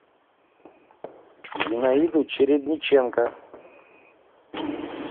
зинаиду чередниченко